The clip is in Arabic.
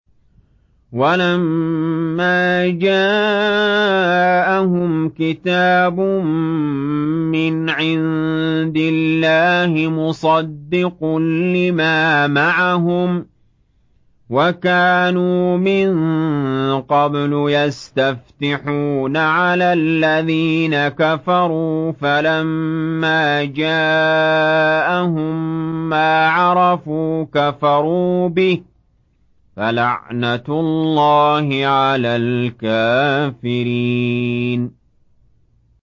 وَلَمَّا جَاءَهُمْ كِتَابٌ مِّنْ عِندِ اللَّهِ مُصَدِّقٌ لِّمَا مَعَهُمْ وَكَانُوا مِن قَبْلُ يَسْتَفْتِحُونَ عَلَى الَّذِينَ كَفَرُوا فَلَمَّا جَاءَهُم مَّا عَرَفُوا كَفَرُوا بِهِ ۚ فَلَعْنَةُ اللَّهِ عَلَى الْكَافِرِينَ